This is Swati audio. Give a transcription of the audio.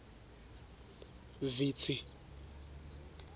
vitsi